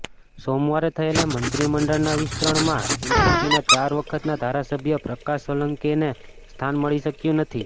સોમવારે થયેલા મંત્રીમંડળના વિસ્તરણમાં એનસીપીના ચાર વખતના ધારાસભ્ય પ્રકાશ સોલંકેને સ્થાન મળી શક્યું નથી